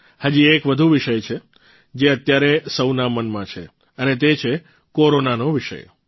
હજી એક વધુ વિષય છે જે અત્યારે સૌના મનમાં છે અને તે છે કોરોનાનો વિષય